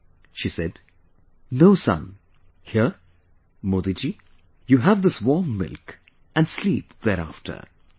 ' She said 'No son, here...Modi ji, you have this warm milk and sleep thereafter'